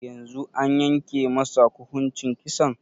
Yanzun an yanke masa kuhuncin Kisan?